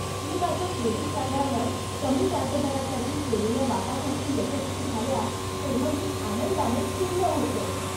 मी माझ्या क्रेडिट कार्डावर कमी व्याजदरासाठी केलेल्या वाटाघाटी यशस्वी झाल्या तेव्हा मी आनंदानं खुललो होतो.